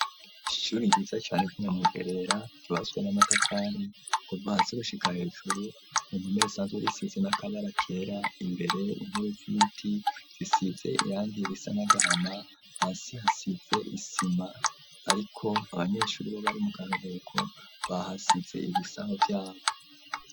Ishuri ryuza cane ry'i Nyamugerera ryubatswe n'amatafari, kuva hasi gushika hejuru, ku mpome risanzwe risize n'akabara kera imbere, intebe z'ibiti zisize irangi risa n'agahama, hasi hasize isima, ariko abanyeshuri bo bari mu karuhuko, bahasize ibisaho vyabo.